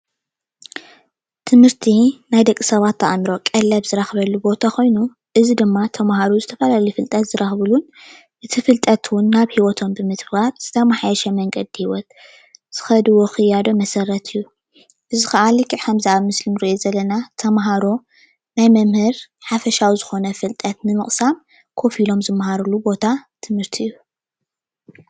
ትምህርቲ ናይ ደቂ ሰባት ኣእምሮ ቀለብ ዝረክበሉ ቦታ ኮይኑ እዚ ድማ ተማሃሮ ዝተፈላለየ ፍልጠት ዝረክብሉ እቲ ፍልጠት እውን ናብ ሂወቶም ብምትጋባር ዝተማሓየሸ መንገዲ ሂወት ዝከድዎ ክያዶ መሰረት እዩ፡፡ እዚ ከዓ ልክዕ ከም እዚ ኣብ ምስሊ እንሪኦ ዘለና ተማሃሮ ናይ መምህር ሓፈሻዊ ዝኮነ ፍልጠት ንምቅሳም ኮፍ ኦሎም ዝማሃርሉ ቦታ ትምህርቲ እዩ፡፡